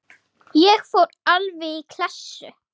Ég fór alveg í klessu.